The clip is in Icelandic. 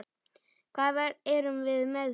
Hvað erum við með hér?